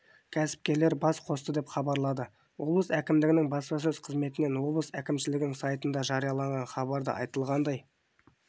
кәсіпкерлер бас қосты деп хабарлады облыс әкімшілігінің баспасөз қызметінен облыс әкімшілігінің сайтында жарияланған хабарда айтылғандай